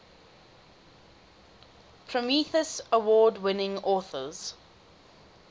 prometheus award winning authors